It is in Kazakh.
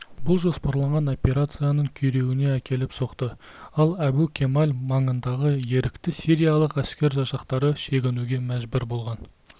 бұл жоспарланған операцияның күйреуіне әкеліп соқты ал әбу-кемаль маңындағы ерікті сириялық әскер жасақтары шегінуге мәжбүр болған